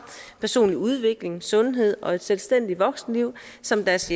personlig udvikling sundhed og et selvstændigt voksenliv som deres